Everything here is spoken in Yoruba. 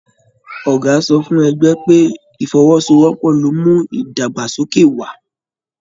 Ọgá sọ fún ẹgbẹ pé, ifọ́wọ́sowọ́pọ̀ lo n mú ìdàgbàsókè wà.